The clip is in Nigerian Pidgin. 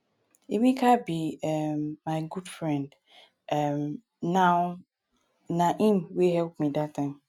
emeka be um my good friend um now na him wey help me dat time.